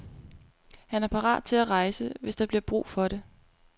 Han er parat til at rejse, hvis der bliver brug for det.